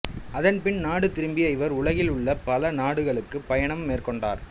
அதன் பின் நாடு திரும்பிய இவர் உலகில் உள்ள பல நாடுகளுக்குப் பயணம் மேற்கொண்டார்